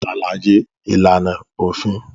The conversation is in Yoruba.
Ṣàlàyé ìlànà òfin